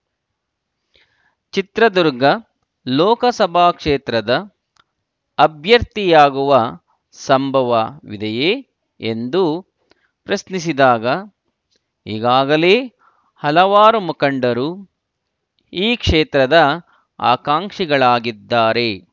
ಚಿತ್ರದುರ್ಗ ಲೋಕಸಭಾ ಕ್ಷೇತ್ರದ ಅಭ್ಯರ್ಥಿಯಾಗುವ ಸಂಭವವಿದೆಯೇ ಎಂದು ಪ್ರಶ್ನಿಸಿದಾಗ ಈಗಾಗಲೇ ಹಲವಾರು ಮುಖಂಡು ಈ ಕ್ಷೇತ್ರದ ಆಕಾಂಕ್ಷಿಗಳಾಗಿದ್ದಾರೆ